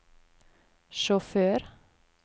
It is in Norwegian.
sjåfør